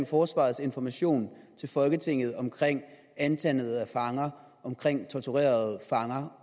forsvarets information til folketinget om antallet af fanger om torturerede fanger